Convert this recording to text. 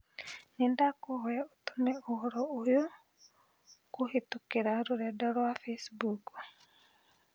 nĩndakũhoya ũtũme ũhoro ũyũkũhītũkīra rũrenda rũa facebook